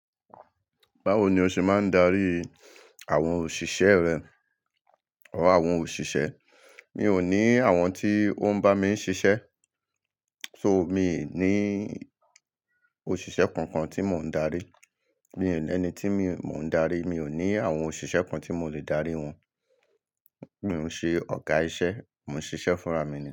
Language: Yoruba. Báwo ni o ṣe máa ń darí àwọn òṣìṣẹ́ rẹ or àwọn òṣìṣẹ́? Mi ò ní àwọn tí ó ń bá mi ń ṣiṣẹ́, so mi n ní òṣìṣẹ́ kankan tí mò ń darí. Mi n ní ẹni tí mò ń darí. Mi ò ní àwọn òṣìṣẹ́ kan tí mo le darí wọn. Mi ò ṣe ọ̀gá iṣẹ́, mò ń ṣiṣẹ́ fúnra mi.